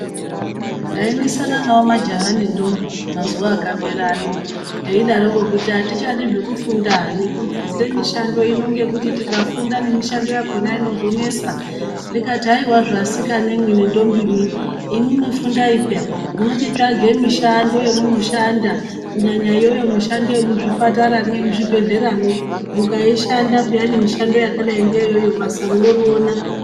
Ndaimisana nawo majaha nendombi mazuwa akapera ano eidaroko kuti atichadi zvekufunda nekudzidzira mishando ino ngekuti tikatafunda nemishando yakona inozonesa ndikati haiwazve asikanemwi nendombimwi imwimwi fundai peye, munochitsvage mishando yemunoshanda kunyanya iyoyo mishando yemuzvipatara, muzvibhehlera mwo, mukaishanda peyani mishando yakadai ngeiyoyo basa munoriona.